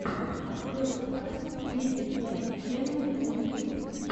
открой подкаст риггет мэйн ченнэл на ютюбе